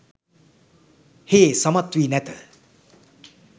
හේ සමත් වී නැත